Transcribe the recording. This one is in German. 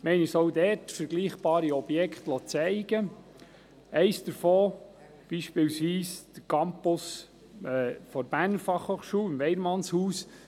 Wir liessen uns vergleichbare Objekte zeigen, eines ist der Campus der Berner Fachhochschule (BFH) im Weyermannshaus.